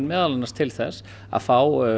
meðal annars til þess að fá